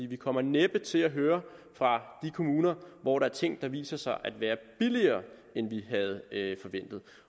vi kommer næppe til at høre fra de kommuner hvor der er ting der viser sig at være billigere end de havde forventet